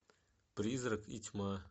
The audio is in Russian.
призрак и тьма